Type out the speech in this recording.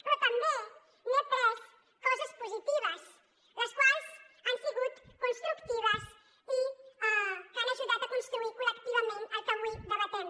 però també n’he après coses positives les quals han sigut constructives i han ajudat a construir col·lectivament el que avui debatem